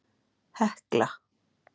Hekla